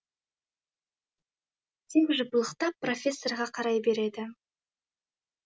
тек жыпылықтап профессорға қарай береді